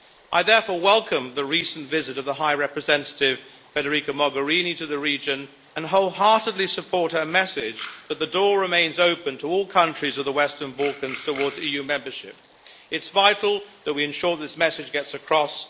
I therefore welcome the recent visit of the High Representative Federica Mogherini to the region and wholeheartedly support her message that the door remains open to all countries of the Western Balkans towards EU membership. It is vital that we ensure this message gets across.